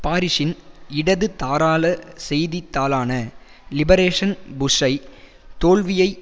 பாரிசின் இடதுதாராள செய்தித்தாளான லிபரேஷன் புஷ்ஷை தோல்வியை